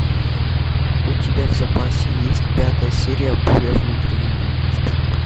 у тебя в запасе есть пятая серия буря внутри меня